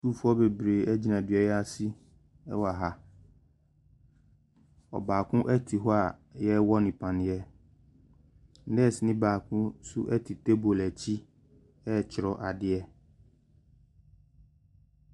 Sukuufoɔ bebree gyina dua yi ase wɔ ha, ɔbaako te hɔ a yɛrewɔ no paneɛ. Nɛɛseni baako nso te table akyi ɛretwerɛ adeɛ.